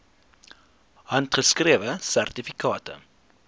handgeskrewe sertifikate